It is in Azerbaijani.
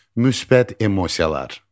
Müsbət emosiyalar.